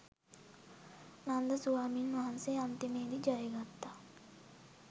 නන්ද ස්වාමීන් වහන්සේ අන්තිමේදි ජයගත්තා.